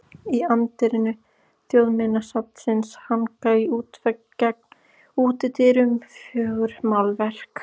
Í anddyri Þjóðminjasafnsins hanga á útvegg gegnt útidyrum fjögur málverk.